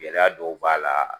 Gɛlɛya dɔw b'a la.